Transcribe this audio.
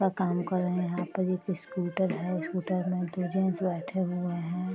अपना काम कर रहे है यहाँ पर एक स्कूटर है स्कूटर में दो जेंट्स बैठे हुए है ।